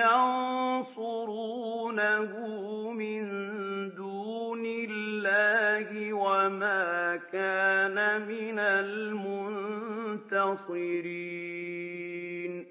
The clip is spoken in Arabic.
يَنصُرُونَهُ مِن دُونِ اللَّهِ وَمَا كَانَ مِنَ الْمُنتَصِرِينَ